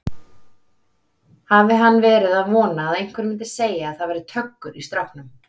Hafi hann verið að vona að einhver myndi segja að það væri töggur í stráknum!